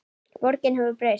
Borgin hefur breyst.